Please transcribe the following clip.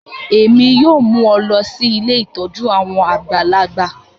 Èmi yoo mu ọ lọ si ilé ìtójú àwon àgbàlagbà